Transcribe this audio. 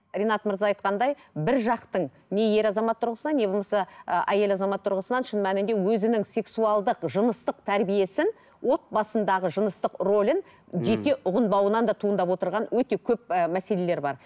ринат мырза айтқандай бір жақтың не ер азамат тұрғысынан не болмаса ы әйел азамат тұрғысынан шын мәнінде өзінің сексуалдық жыныстық тәрбиесін отбасындағы жыныстық рөлін ммм жете ұғынбауынан да туындап отырған өте көп ііі мәселелер бар